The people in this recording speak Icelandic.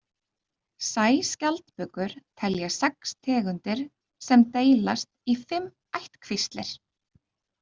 Sæskjaldbökur telja sex tegundir sem deilast í fimm ættkvíslir.